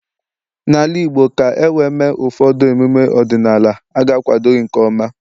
n'ala Igbo, ka e wee mee ụfọdụ emume ọdịnala, a ga-akwado gị nke ọma